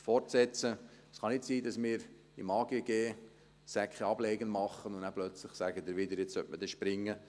Es kann nicht sein, dass wir im Amt für Grundstücke und Gebäude (AGG) einen Ableger machen, und nachher sagen Sie plötzlich wieder, man sollte rennen.